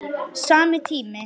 Sami tími.